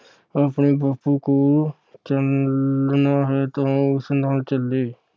ਆਪਣੇ ਬਾਪੂ ਕੋਲ ਚਲਣਾ ਹੈ ਤਾ ਉਹ ਉਸ ਨਾਲ ਚਲੇ।